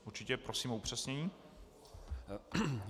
Určitě, prosím o upřesnění.